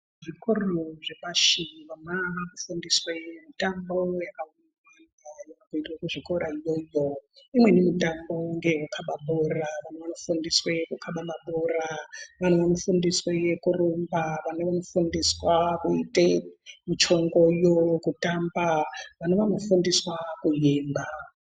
Zvikoro zvepashi vana vanofundiswe mitambo yaka............inoitwe kuzvikora iyoyo imweni mitambo ngeyekukaba bhora vana vanofundiswe kukaba mabhora, vana vanofundiswe kurumba , vana vanofundiswe muchongoyo kutamba, vana vanofundiswa kuimba.